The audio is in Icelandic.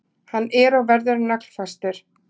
Hann er og verður naglfastur.